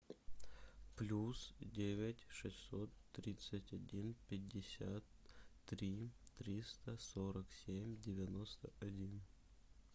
плюс девять шестьсот тридцать один пятьдесят три триста сорок семь девяносто один